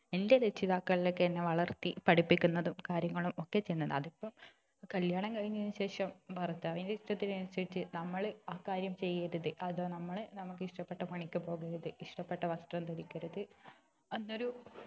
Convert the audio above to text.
എൻ്റെ രക്ഷിതാക്കളൊക്കെ എന്നെ വളർത്തി പഠിപ്പിക്കുന്നതും കാര്യങ്ങളും ഒക്കെ ചെയ്യുന്നതും അതിപ്പോ കല്യാണം കഴിഞ്ഞതിനു ശേഷം ഭർത്താവിൻ്റെ ഇഷ്ടത്തിന് അനുസരിച് നമ്മൾ അക്കാര്യം ചെയ്യരുത് അതൊന്ന് നമുക്ക് ഇഷ്ടപ്പെട്ട പണിക്ക് പോകരുത് ഇഷ്ടപ്പെട്ട വസ്ത്രം ധരിക്കരുത് അന്നൊരു